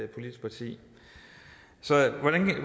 politisk parti så